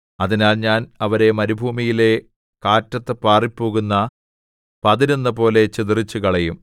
അതിനാൽ ഞാൻ അവരെ മരുഭൂമിയിലെ കാറ്റത്തു പാറിപ്പോകുന്ന പതിരെന്നപോലെ ചിതറിച്ചുകളയും